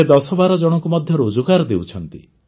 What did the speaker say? ସେ ଦଶବାର ଜଣଙ୍କୁ ମଧ୍ୟ ରୋଜଗାର ଦେଉଛନ୍ତି